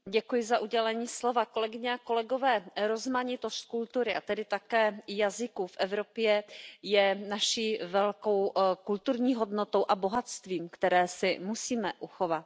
Pane předsedající, kolegyně a kolegové, rozmanitost kultury a tedy také jazyků v Evropě je naší velkou kulturní hodnotou a bohatstvím, které si musíme uchovat.